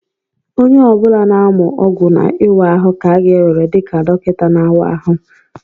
Ahụ ọ bụla na-amụ ọgwụ na ịwa ahụ ka a ga-ewere dị ka dọkịta na-awa ahụ